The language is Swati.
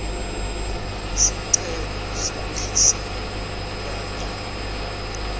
sicelo sekwehliselwa kanye